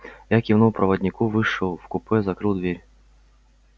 я кивнул проводнику вышел в купе закрыл дверь